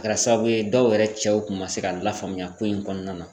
A kɛra sababu ye dɔw yɛrɛ cɛw kun ma se ka lafaamuya ko in kɔnɔna na.